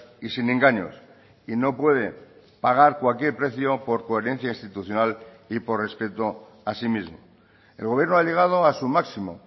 y sin engaños y no puede pagar cualquier precio por coherencia institucional y por respeto a sí mismo el gobierno ha llegado a su máximo